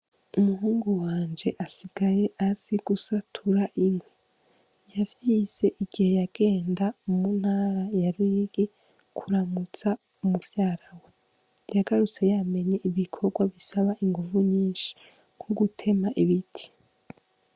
Umuhungu wanje asigaye azi gusatura inkwi yavyize igihe yagenda mu ntara ya RUYIGI kuramutsa muvyarawe yagarutse yamenye ibikogwa bisaba inguvu nyishi nko gutema ibiti.